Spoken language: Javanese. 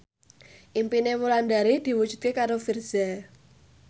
impine Wulandari diwujudke karo Virzha